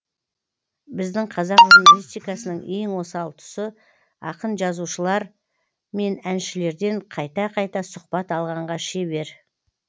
біздің қазақ журналистикасының ең осал тұсы ақын жазушылар мен әншілерден қайта қайта сұхбат алғанға шебер